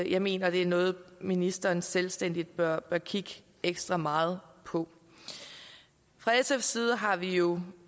jeg mener det er noget ministeren selvstændigt bør bør kigge ekstra meget på fra sfs side har vi jo